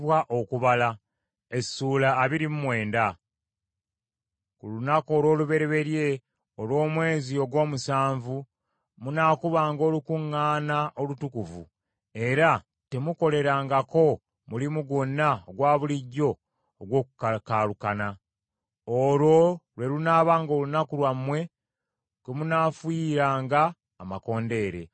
“Ku lunaku olw’olubereberye olw’omwezi ogw’omusanvu munaakubanga olukuŋŋaana olutukuvu, era temuukolerengako mulimu gwonna ogwa bulijjo ogw’okukakaalukana. Olwo lwe lunaabanga olunaku lwammwe kwe munaafuuyiranga amakondeere.